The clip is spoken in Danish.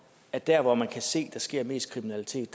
at der hvor man kan se at der sker mest kriminalitet